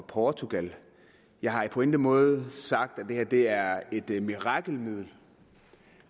portugal jeg har på ingen måde sagt at det her er et et mirakelmiddel